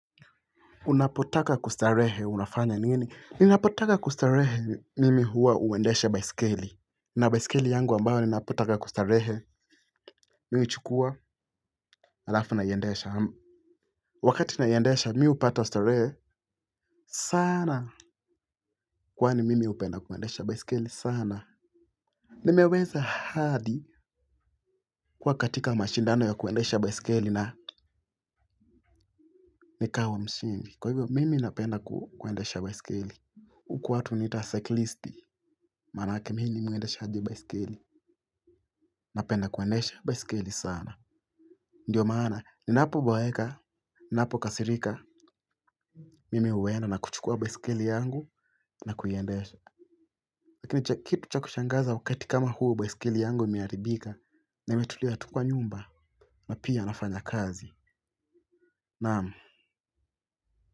Unapotaka kustarehe unafanya nini? Ninapotaka kustarehe mimi huwa uendesha baisikeli. Na baisikeli yangu ambayo ninapotaka kustarehe. Mimi huchukua, halafu naiendesha. Wakati naiendesha, mi hupata starehe sana. Kwani mimi hupenda kuendesha baisikeli sana. Nimeweza hadi kuwa katika mashindano ya kuendesha baisikeli na nikawa mshindi. Kwa hivyo mimi napenda kuendesha baisikeli. Huku watu huniita siklisti, maana yake mimi ni mwendeshaji baisikeli. Napenda kuendesha baisikeli sana. Ndiyo maana ninapo boeka ninapo kasirika mimi uwenda na kuchukua baisikeli yangu na kuiendesha. Lakini kitu cha kushangaza wakati kama huu baisikeli yangu imeharibika na imetulia tu kwa nyumba na pia nafanya kazi naam.